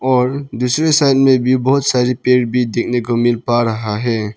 और दूसरे साइड में भी बहुत सारी पेड़ भी देखने को मिल पा रहा है।